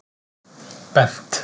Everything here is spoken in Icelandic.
Bent